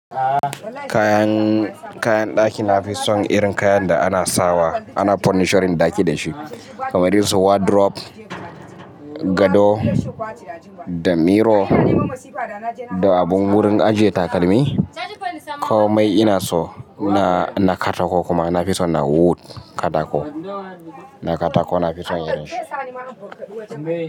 Kayan, kayan ɗaki na fi son irin kayan da ana sawa, ana fonisharin ɗaki dashi, kamar su wardrobe, gado, da mirror, da abun wurin ajiye takalmi. Komai ina so na, na katako kuma na fi so na wood katako, na katako na fi son irin shi.